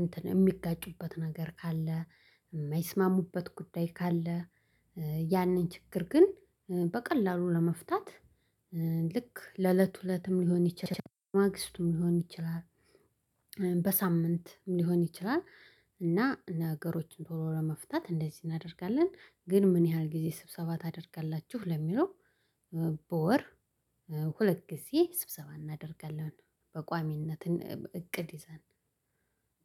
እንትን የሚጋጩበት ነገር ካለ የማይስማሙበት ጉዳይ ካለ ያንን ችግር ግን በቀላሉ ለመፍታት ልክ ለእለት እለትም ሊሆን ይችላል ማግስቱም ሊሆን ይችላል። በሳምንትም ሊሆን ይችላል እና ነገሮችን ቶሎ ለመፍታት እንደዚህ እናደርጋለን። ግን ምን ያህል ጊዜ ስብሰባ ታደርጋላችሁ? ለሚለው በወር ሁለት ጊዜ ስብሰባ አናደርጋለን። በቋሚነትን እቅድ ይዘን